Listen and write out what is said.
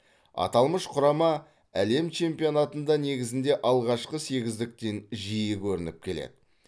аталмыш құрама әлем чемпионатында негізінде алғашқы сегіздіктен жиі көрініп келеді